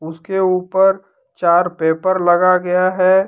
उसके ऊपर चार पेपर लगा गया है।